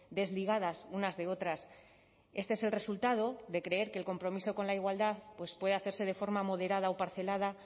desligadas unas de otras este es el resultado de creer que el compromiso con la igualdad puede hacerse de forma moderada o parcelada